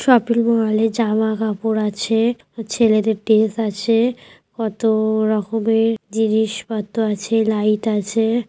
Shopping মলে জামাকাপড় আছে। ছেলেদের ড্রেস আছে। কতো রকমের জিনিসপত্র আছে লাইট আছে।